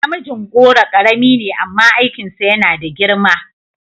Mijingoro karami ne amma aikinsa yana da girma